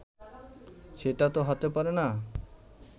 সেটাতো হতে পারে না